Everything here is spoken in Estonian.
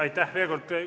Aitäh veel kord!